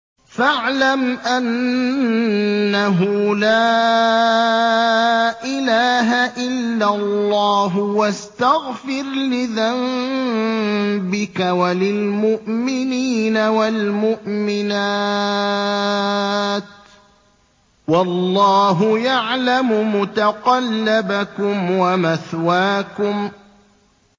فَاعْلَمْ أَنَّهُ لَا إِلَٰهَ إِلَّا اللَّهُ وَاسْتَغْفِرْ لِذَنبِكَ وَلِلْمُؤْمِنِينَ وَالْمُؤْمِنَاتِ ۗ وَاللَّهُ يَعْلَمُ مُتَقَلَّبَكُمْ وَمَثْوَاكُمْ